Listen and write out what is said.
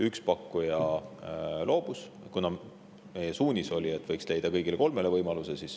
Üks pakkuja loobus, kuna meie suunis oli, et võiks leida kõigile kolmele võimaluse.